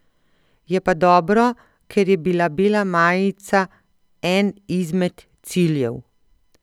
Je pa dobro, ker je bila bela majica en izmed ciljev.